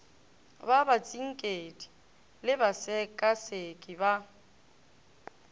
ba batsinkedi le basekaseki ba